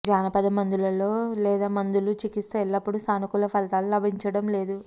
జానపద మందులలో లేదా మందులు చికిత్స ఎల్లప్పుడూ సానుకూల ఫలితాలు లభించడం లేదు